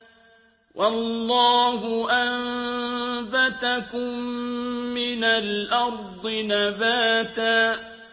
وَاللَّهُ أَنبَتَكُم مِّنَ الْأَرْضِ نَبَاتًا